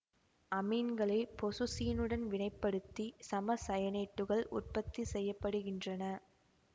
அமீன்களை பொசுசீனுடன் வினைப்படுத்தி சமசயனேட்டுகள் உற்பத்தி செய்ய படுகின்றன